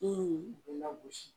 I bɛ lagosi